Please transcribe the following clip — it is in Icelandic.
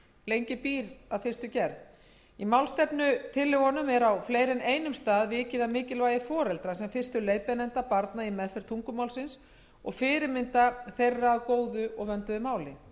lengi býr að fyrstu gerð í málstefnutillögunum er á fleiri en einum stað vikið að mikilvægi foreldra sem fyrstu leiðbeinenda barna í meðferð tungumálsins og fyrirmynda þeirra að góðu og vönduðu máli